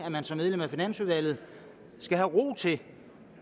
at man som medlem af finansudvalget skal have ro til